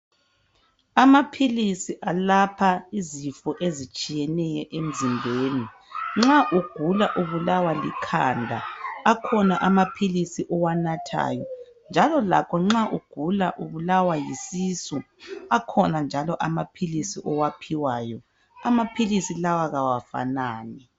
Amaphilisi alapha izifo ezitshiyeneyo emzimbeni. Nxa ugula ubulawa likhanda akhona amaphilisi owanathayo. Njalo lakho nxa ugula ubulawa yisisu akhona njalo àmaphilisi owaphiwayo, amaphilisi lawa kawafanani.